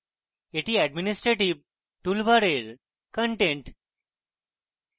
এটি administrative toolbar content